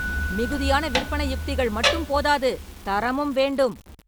மிகுதியான விற்பனை யுக்திகள் மற்றும் போதாது, தரமும் வேண்டும்